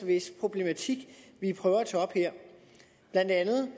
hvis problemer vi prøver at tage op her blandt andet